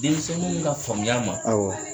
Denmisɛnw ka faamuya ma awɔ